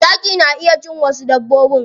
Zaki na cin wasu dabbobin.